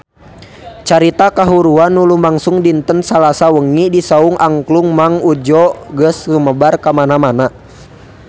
Carita kahuruan anu lumangsung dinten Salasa wengi di Saung Angklung Mang Udjo geus sumebar kamana-mana